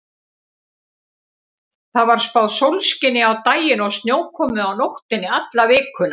Það var spáð sólskini á daginn og snjókomu á nóttunni alla vikuna.